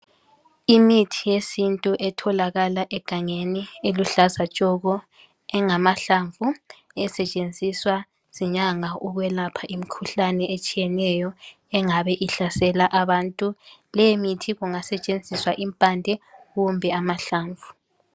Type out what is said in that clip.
Imithi yesintu etholakala egangeni eluhlaza tshoko, engamahlamvu esetshenziswa zinyanga ukwelapha imikhuhlane etshiyeneyo engabe ihlasela abantu. Leyimithi kungasetshenziswa impande kumbe amahlamvu.